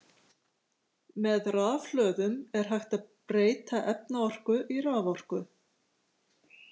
Með rafhlöðum er hægt að breyta efnaorku í raforku.